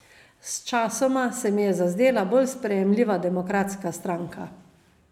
Sčasoma se mi je zazdela bolj sprejemljiva demokratska stranka.